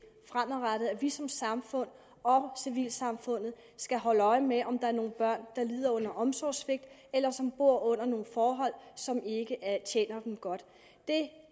fremadrettet nemlig at vi som samfund og civilsamfund skal holde øje med om der er nogle børn der lider under omsorgssvigt eller som bor under nogle forhold som ikke tjener dem godt det